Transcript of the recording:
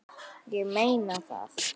Ég meina það!